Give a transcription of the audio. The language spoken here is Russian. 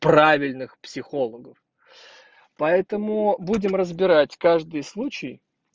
правильных психологов поэтому будем разбирать каждый случай